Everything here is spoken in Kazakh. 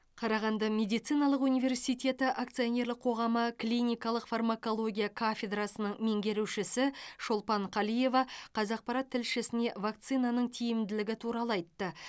қарағанды медициналық универсиеті акционерлік қоғамы клиникалық фармакология кафедрасының меңгерушісі шолпан қалиева қазақпарат тілшісіне вакцинаның тиімділігі туралы айтты